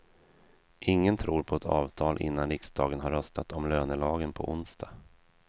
Ingen tror på ett avtal innan riksdagen har röstat om lönelagen på onsdag.